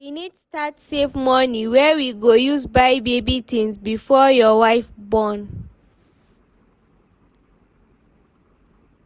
we need start save money wey we go use buy baby things before your wife born